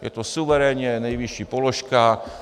Je to suverénně nejvyšší položka.